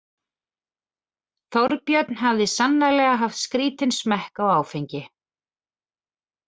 Þorbjörn hafði sannarlega haft skrítinn smekk á áfengi.